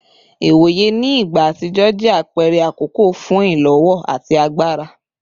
Iwoye ni igba atijọ jẹ apẹrẹ akọkọ fun ilowo ati agbara